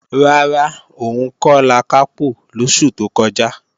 Rárá, òun kò lakápò lósù tó kọjá